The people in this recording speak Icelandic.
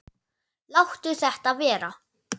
Láttu þetta vera!